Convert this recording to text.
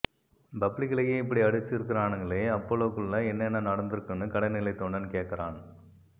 பப்ளிக்லயே இப்பிடி அடிச்சிருக்கானுகளே அப்போலோக்குள்ள என்னென்ன நடந்துருக்கும்னு கடைநிலைத் தொண்டன் கேக்கறான்